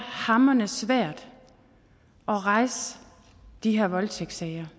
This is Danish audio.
hamrende svært at rejse de her voldtægtssager